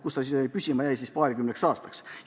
Sinna jäi see püsima paarikümneks aastaks.